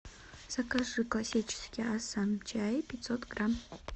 закажи классический ассам чай пятьсот грамм